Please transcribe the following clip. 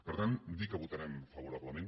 per tant dir que votarem favorablement